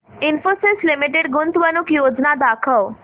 Infosys limited गुंतवणूक योजना दाखव